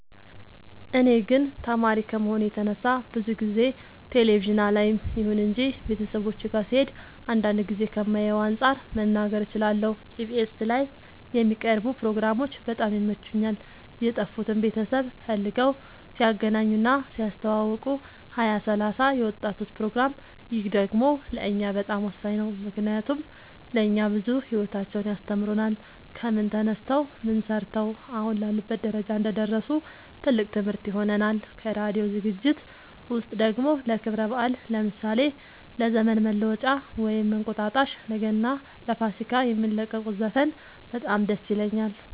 እኔ ግን ተማሪ ከመሆኔ የተነሳ ብዙ ጊዜ ቴሌቪዥን አላይም ይሁን እንጂ ቤተሰቦቼ ጋ ስሄድ አንዳንድ ጊዜ ከማየው አንፃር መናገር እችላለሁ ኢቢኤስ ላይ የሚቀርቡ ፕሮግራሞች በጣም ይመቹኛል የጠፉትን ቤተሰብ ፈልገው ሲያገናኙ እና ሲያስተዋውቁ ሀያ ሰላሳ የወጣቶች ፕሮግራም ይህ ደግሞ ለእኛ በጣም ወሳኝ ነው ምክንያቱም ለእኛ ብዙ ሂወታቸውን ያስተምሩናል ከምን ተነስተው ምን ሰርተው አሁን ላሉበት ደረጃ እንደደረሱ ትልቅ ትምህርት ይሆነናል ከራዲዮ ዝግጅት ውስጥ ደግሞ ለክብረ በአል ለምሳሌ ለዘመን መለወጫ ወይም እንቁጣጣሽ ለገና ለፋሲካ የሚለቁት ዘፈን በጣም ደስ ይለኛል